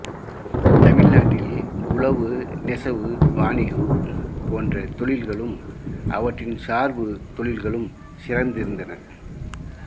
தமிழ்நாட்டில் உழவு நெசவு வாணிகம் போன்ற தொழில்களும் அவற்றின் சார்பு தொழில்களும் சிறந்திருந்தன